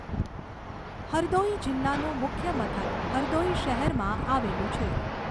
હરદૌઈ જિલ્લાનું મુખ્ય મથક હરદોઈ શહેરમાં આવેલું છે.